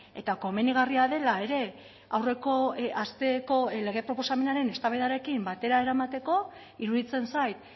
eta komenigarria dela ere aurreko asteko lege proposamenaren eztabaidarekin batera eramateko iruditzen zait